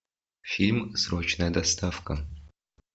фильм срочная доставка